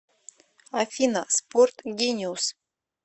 афина спорт гениус